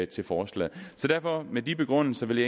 til forslaget med de begrundelser vil